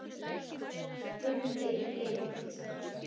spurði Lind.